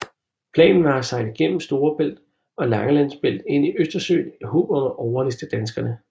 Planen var at sejle gennem Storebælt og Langelands Bælt ind i Østersøen i håb om at overliste danskerne